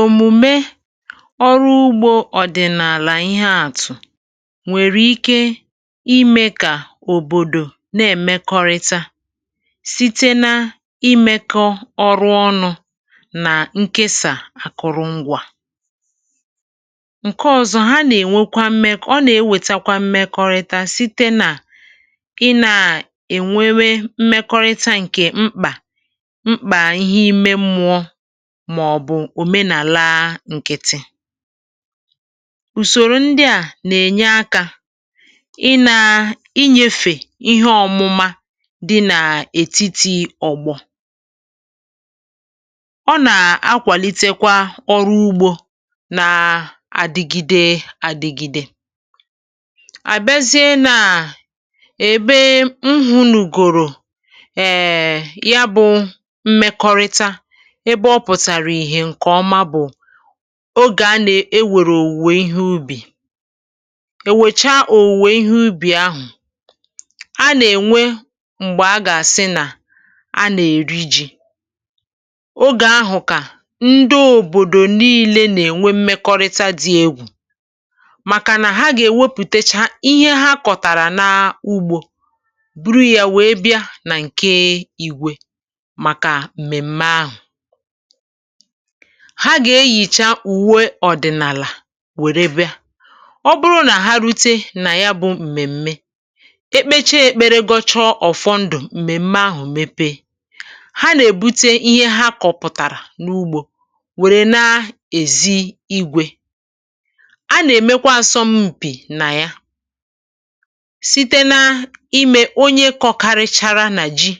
Omùme ọrụ ugbȯ ọ̀dị̀nàlà ihe àtụ̀ nwèrè ike imė kà òbòdò na-èmekọrịta site na-imėkọ ọrụ ọnụ̇ nà ǹkesà àkụ̀rụ̀ṅgwȧ. Nke ọ̇zọ̇, ha nà-ènwekwa mmekọ, ọ nà-ewètakwa mmekọrịta site nà ị nà-ènwewa mmekọrịta ǹkè mkpà mkpa ihe ime mmụọ mà ọ̀ bụ̀ òmenàlaa ǹkịtị. Usòrò ndị à nà-ènye akȧ ị nà i nyėfè ihe ọ̇mụ̇mȧ dị na ètitì ọ̀gbọ̀. Ọ nà-akwàlitekwa ọrụ ugbȯ nàà adị̇gide adị̇gide. A bịazie nà èbe m hụ̀nùgòrò um ya bụ̇ mmekọrịta ebe ọ pụ̀tàrà ìhè ǹkè ọma bụ̀ ogè a nà-ewèrè òwùwè ihe ubì. E wècha òwùwè ihe ubì ahụ̀, a nà-ènwe m̀gbè a gà-àsị nà a nà-èri ji. Ogè ahụ̀ kà ndị òbòdò niilė nà-ènwe mmekọrịta dị egwù, màkà nà ha gà-èwepùtacha ihe ha kọ̀tàrà n’ugbȯ buru yȧ wèe bịa nà ǹke Igwė màkà mmèm̀me ahụ̀. Ha gà-eyìcha ùwe ọ̀dị̀nàlà wère bịa. Ọ bụrụ nà ha rute nà ya bụ m̀mèm̀me, ekpeche kpere, gọchọ ọ̀fọndụ m̀mèm̀me ahụ̀ mepe, ha nà-èbute ihe ha kọ̇pụ̀tàrà n’ugbȯ wère na-èzi Igwė. A nà-èmekwa asọm mpì nà ya, site na imė onye kọkarịchara nà ji,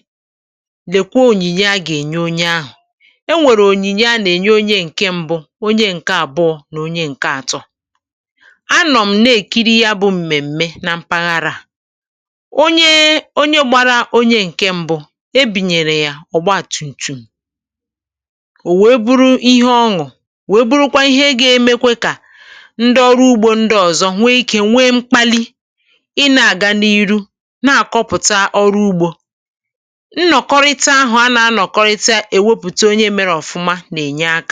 lèkwa onyìnye a gà-ènye onye ahụ̀. E nwere onyinye a na enye onye nke mbụ, onye ǹke àbụọ̇, n’onye ǹke àtọ. A nọ m na-èkiri ya bụ m̀mèm̀me na mpaghara. Onye, onye gbara onye ǹke mbụ̇, e bunyèrè ya ọ̀gba tum tum, ò wèe bụrụ ihe ọṅụ̀, wèe bụrụkwa ihe ga-emekwa kà ndị ọrụ ugbȯ ndị ọ̀zọ nwee ike nwee mkpali ị na-àga n’iru na-àkọpụ̀ta ọrụ ugbȯ. Nnọkọrịta ahụ a na a nọkọrịta ewepụta onye mere ọfụma n’enye aka.